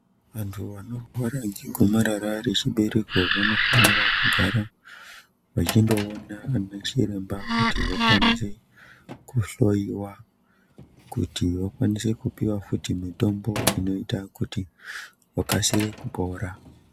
Antu anorwara ngegomarara rechibereko vanofanira kugara vachindoona anachiremba kuti vakwanise kuhloiwa kuti vakwanise kupuwa futi mitombo inoita kuti vakasire kupora.